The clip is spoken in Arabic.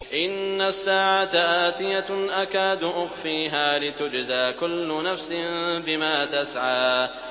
إِنَّ السَّاعَةَ آتِيَةٌ أَكَادُ أُخْفِيهَا لِتُجْزَىٰ كُلُّ نَفْسٍ بِمَا تَسْعَىٰ